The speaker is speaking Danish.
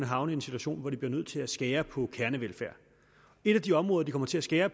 havne i en situation hvor de bliver nødt til at skære ned på kernevelfærd et af de områder de kommer til at skære